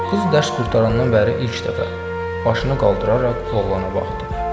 Qız dərs qurtarandan bəri ilk dəfə başını qaldıraraq oğlana baxdı.